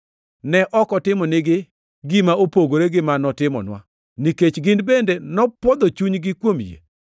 Ne ok otimonigi gima opogore gi ma notimonwa, nikech gin bende nopwodho chunygi kuom yie.